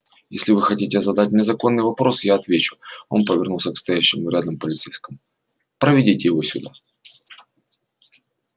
если вы хотите задать мне законный вопрос я отвечу он повернулся к стоявшему рядом полицейскому проведите его сюда